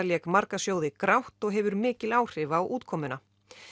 lék marga sjóði grátt og hefur mikil áhrif á útkomuna